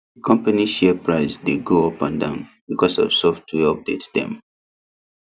the company share price dey go up and down because of software update dem